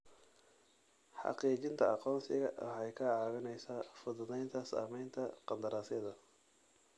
Xaqiijinta aqoonsiga waxay kaa caawinaysaa fududaynta samaynta qandaraasyada.